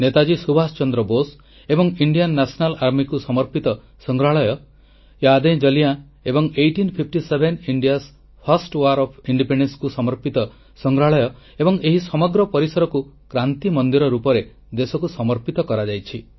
ନେତାଜୀ ସୁଭାଷ ଚନ୍ଦ୍ର ବୋଷ ଏବଂ Indian National Army କୁ ସମର୍ପିତ ସଂଗ୍ରହାଳୟ ୟାଦ୍ଏଜଲିୟାଁ ଏବଂ 1857 ଭାରତର ପ୍ରଥମ ସ୍ୱାଧୀନତା ସଂଗ୍ରାମର ସମର୍ପିତ ସଂଗ୍ରହାଳୟ ଏବଂ ଏହି ସମଗ୍ର ପରିସରକୁ କ୍ରାନ୍ତି ମନ୍ଦିର ରୂପରେ ଦେଶକୁ ସମର୍ପିତ କରାଯାଇଛି